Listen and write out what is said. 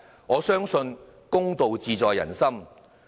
我相信公道自在人心。